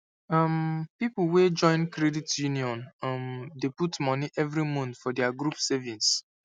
um people wey join credit union um dey put money every month for their group savings